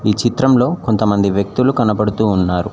ఈ చిత్రంలో కొంతమంది వ్యక్తులు కనబడుతూ ఉన్నారు.